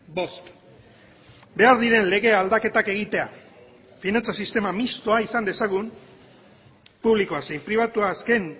bost behar diren lege aldaketak egitea finantza sistema mistoa izan dezagun publikoa zein pribatua azken